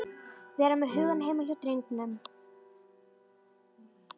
Vera með hugann heima hjá drengnum.